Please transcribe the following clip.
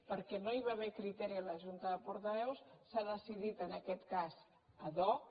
perquè no hi va haver criteri a la junta de portaveus s’ha decidit en aquest cas ad hoc